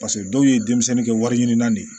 Paseke dɔw ye denmisɛnnin kɛ wariɲini na de ye